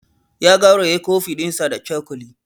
Ya gauraye coffee ɗinsa da cokali.